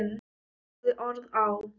Og hafði orð á.